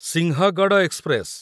Sinhagad express